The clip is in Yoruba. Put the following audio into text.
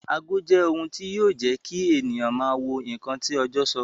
Ago jẹ́ ohun tí yọ jẹ́ kí ènìyàn máa wo ǹkan tí ọjọ́ sọ